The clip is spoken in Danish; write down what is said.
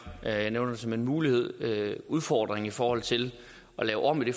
jeg nævner det som en mulighed udfordringen i forhold til at lave om i det